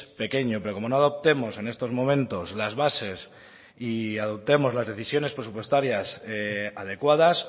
pequeño pero como no adoptemos en estos momentos las bases y adoptemos las decisiones presupuestarias adecuadas